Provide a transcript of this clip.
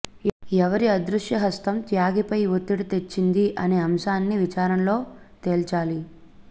ఎవరి అదృశ్యహస్తం త్యాగిపై ఒత్తిడి తెచ్చింది అనే అంశాన్ని విచారణలో తేల్చాలి